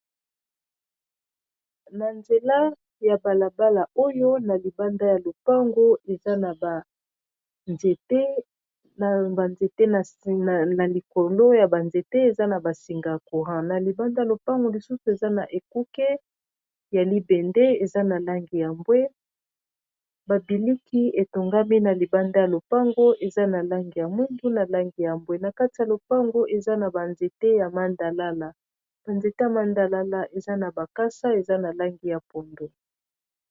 Na nzela ya bala bala oyo na libanda ya lopango eza na ba nzete na ba nzete na likolo ya ba nzete eza na ba singa ya courant na libanda ya lopango lisusu eza na ekuke ya libende eza na langi ya mbwe babimisi etongami na libanda ya lopango eza na langi ya mwindo pe na langi ya mbwe nakati ya lopango eza na ba nzete ya mbila ba nzete ya mbila eza na makasa